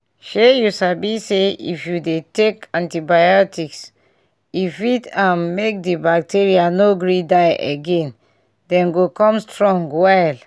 shey you sabi say if you to dey take antibiotics e fit um make the bacteria no gree die again them go come strong well